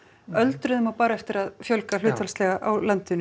öldruðum á bara eftir að fjölga hlutfallslega á landinu